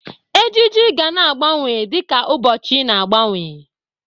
Ejiji ga na-agbanwe dịka ụbọchị na-agbanwe.